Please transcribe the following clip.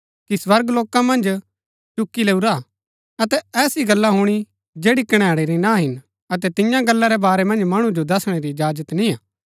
कि स्वर्गलोका मन्ज चुकी लैऊरा हा अतै ऐसी गल्ला हुणी जैड़ी कणैणै री ना हिन अतै तियां गल्ला रै बारै मन्ज मणु जो दसणै री इजाजत निय्आ